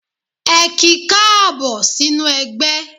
Ẹ ki káàbọ̀ sínú ẹgbẹ́.